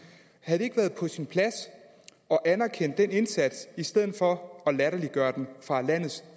havde det ikke været på sin plads at anerkende den indsats i stedet for at latterliggøre den fra landets